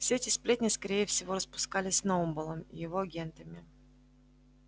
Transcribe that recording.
все эти сплетни скорее всего распускались сноуболлом и его агентами